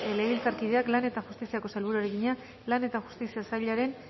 legebiltzarkideak lan eta justiziako sailburuari egina lan eta justizia sailaren